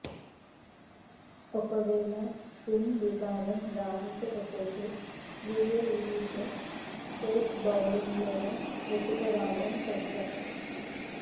ఒకవేళ స్పిన్ విభాగం రాణించకపోతే యూఏఈలో పేస్ బౌలింగ్తోనే నెట్టుకురావడం కష్టం